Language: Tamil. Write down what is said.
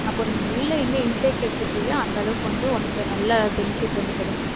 அப்போ நீ உள்ள என்ன intake எடுத்துக்கிறியோ அந்த அளவுக்கு வந்து உனக்கு நல்ல benefit வந்து கிடைக்கும்